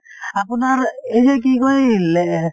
আপোনাৰ এই যে কি কয় লে